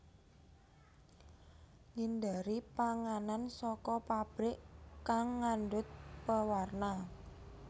Ngindari panganan saka pabrik kang ngandut pewarna